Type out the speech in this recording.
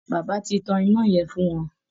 Bàbà ti tán iná yẹn fún wọn